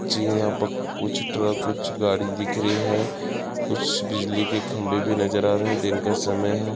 जी ये यहाँ पे कुछ ट्रक कुछ गाड़ी दिख रही है कुछ बिजली के खम्बे भी नजर आ रहे है दिन का समय है।